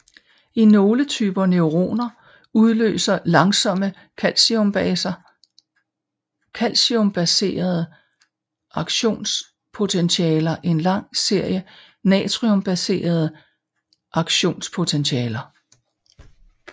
I nogle typer neuroner udløser langsomme calciumbaserede aktionspotentialer en lang serie natriumbaserede aktionspotentialer